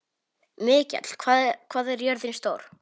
Mikjáll, hvað er jörðin stór?